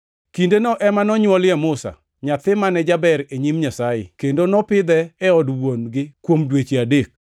“Kindeno ema nonywolie Musa, nyathi mane jaber e nyim Nyasaye kendo nopidhe e od wuon-gi kuom dweche adek.